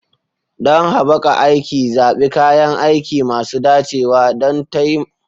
Don haɓaka aiki, zaɓi kayan aiki masu dacewa don takamaiman hanyoyin dafa abinci.